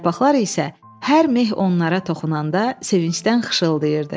Yarpaqlar isə hər meh onlara toxunanda sevincdən xışırdırdı.